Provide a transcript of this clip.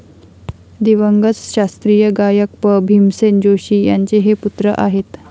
दिवंगत शास्त्रीय गायक पं. भीमसेन जोशी यांचे हे पुत्र आहेत.